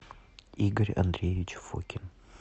игорь андреевич фокин